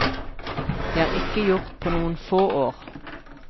Det er ikke gjort på noen få år.